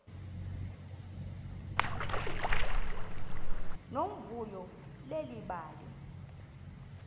nomvuyo leli bali